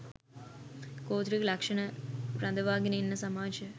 ගෝත්‍රික ලක්ෂණ රඳවාගෙන ඉන්න සමාජය